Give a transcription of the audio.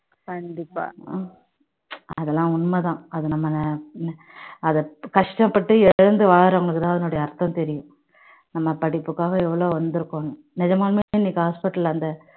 கண்டிப்பா அதெல்லாம் உண்மைதான் அதை நம்ம கஷ்டப்பட்டு இழந்து வாறவங்களுக்கு தான் அதனோட அர்த்தம் தெரியும் நம்ம படிப்புக்காக எவ்வளவு வந்திருப்போம் நிஜமாவே அந்த hospital ல அந்த